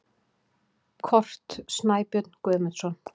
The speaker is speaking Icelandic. Kort: Snæbjörn Guðmundsson.